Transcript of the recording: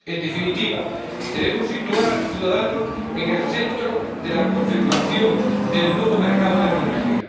En definitiva, debemos situar al ciudadano en el centro de la configuración del nuevo mercado de la energía.